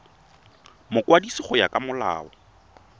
mokwadisi go ya ka molao